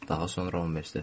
Daha sonra universitetdə.